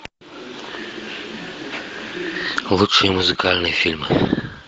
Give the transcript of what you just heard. лучшие музыкальные фильмы